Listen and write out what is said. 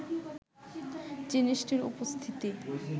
জিনিসটির উপস্থিতি